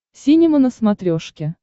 синема на смотрешке